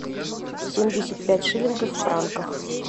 семьдесят пять шиллингов в франках